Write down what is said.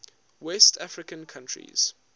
west african countries